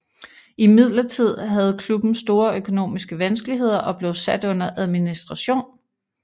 Imidlertid havde klubben store økonomiske vanskeligheder og blev sat under administration